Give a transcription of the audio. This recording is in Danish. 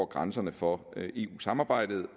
grænserne for eu samarbejdet